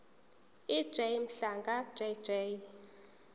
ej mhlanga jj